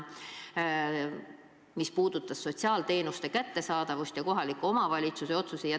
See otsus puudutas sotsiaalteenuste kättesaadavust ja kohaliku omavalitsuse otsuseid.